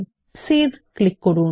তারপর save click করুন